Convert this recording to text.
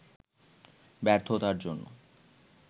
ব্যর্থতার জন্য